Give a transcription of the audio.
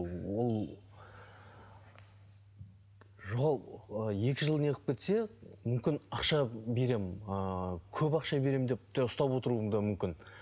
ол жоғалып екі жыл неғып кетсе мүмкін ақша беремін ыыы көп ақша беремін деп те ұстап отыруы да мүмкін